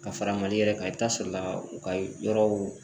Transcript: Ka fara mali yɛrɛ kan, i be taa sɔrɔ la u ka yɔrɔw